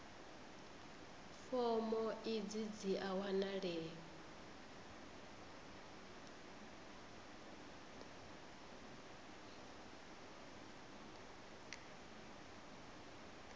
fomo idzi dzi a wanalea